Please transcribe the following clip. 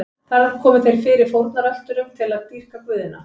Þar komu þeir fyrir fórnarölturum til að dýrka guðina.